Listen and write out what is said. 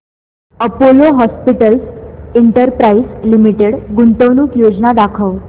Apollo Hospitals Enterprise Limited गुंतवणूक योजना दाखव